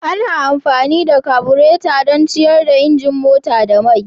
Ana amfani da kabureta don ciyar da injin mota da mai.